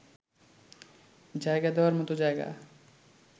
জায়গা দেওয়ার মতো জায়গা